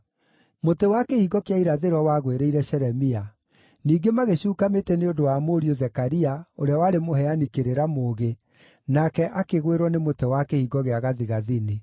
Mũtĩ wa Kĩhingo kĩa Irathĩro wagwĩrĩire Shelemia. Ningĩ magĩcuuka mĩtĩ nĩ ũndũ wa mũriũ Zekaria, ũrĩa warĩ mũheani kĩrĩra mũũgĩ, nake akĩgwĩrwo nĩ mũtĩ wa Kĩhingo gĩa Gathigathini.